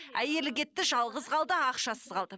әйелі кетті жалғыз қалды ақшасыз қалды